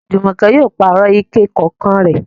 Jùmọ̀kẹ́ yóò pààrọ̀ ike kànǹkàn rẹ̀.